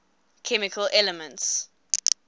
chemical elements